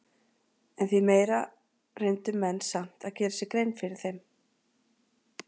En því meira reyndu menn samt að gera sér grein fyrir þeim.